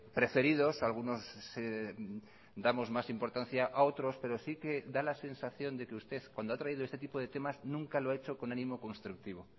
preferidos algunos damos más importancia a otros pero sí que da la sensación de que usted cuando ha traído este tipo de temas nunca lo ha hecho con ánimo constructivo